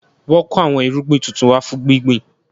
Wọn kò àwọn irúgbìn tuntun wá fún gbíngbin